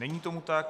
Není tomu tak.